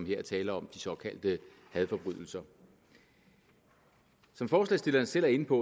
her er tale om de såkaldte hadforbrydelser som forslagsstillerne selv er inde på